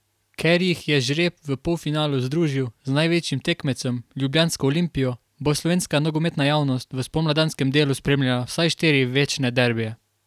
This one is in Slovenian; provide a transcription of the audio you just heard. Ker jih je žreb v polfinalu združil z največjim tekmecem, ljubljansko Olimpijo, bo slovenska nogometna javnost v spomladanskem delu spremljala vsaj štiri večne derbije.